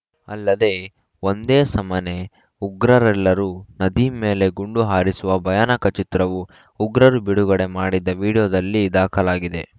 ಅಲ್ಲದೆ ಒಂದೇ ಸಮನೇ ಉಗ್ರರೆಲ್ಲರೂ ನದೀಮ್‌ ಮೇಲೆ ಗುಂಡು ಹಾರಿಸುವ ಭಯಾನಕ ಚಿತ್ರವೂ ಉಗ್ರರು ಬಿಡುಗಡೆ ಮಾಡಿದ ವಿಡಿಯೋದಲ್ಲಿ ದಾಖಲಾಗಿದೆ